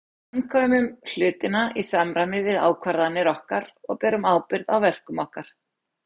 Við framkvæmum hlutina í samræmi við ákvarðanir okkar og berum ábyrgð á verkum okkar.